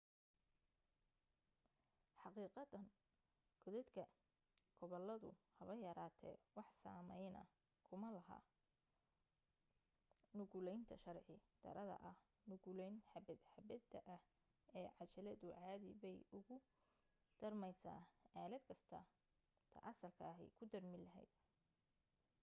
xaqiiqatan koodadka gobaladu haba yaraatee wax saamayna kuma leh nuqulaynta sharci darrada ah nuqulayn xabbad-xabbada ah ee cajaladu caadi bay ugu daarmaysaa aalad kasta ta asalka ahi ku daarmi lahayd